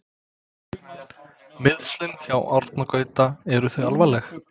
Meiðslin hjá Árna Gaut eru þau alvarleg?